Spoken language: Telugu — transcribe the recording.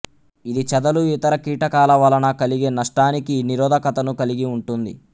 ఇది చేదలు ఇతర కీటకాల వలన కలిగే నష్టానికి నిరోధకతను కలిగి ఉంటుంది